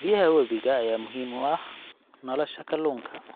Biyaha webiga ayaa muhiim u ah nolosha kalluunka.